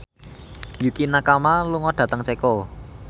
Yukie Nakama lunga dhateng Ceko